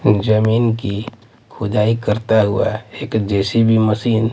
जमीन की खुदाई करता हुआ एक जेसीबी मशीन --